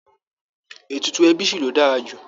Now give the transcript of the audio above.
Ètùtù ẹbí ṣì ló dára jù